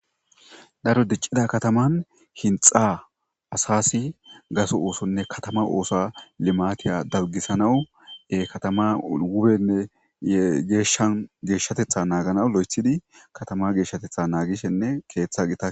daro diccida kataman hinxa asasi gaso oosonne katama oosa limatiya dabgisanawue katama wubenne geeshshan geeshshatetha naagana lo7ethidi katama geeshshatetha naagishenne keeththa gita